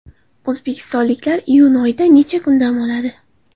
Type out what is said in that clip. O‘zbekistonliklar iyun oyida necha kun dam oladi?.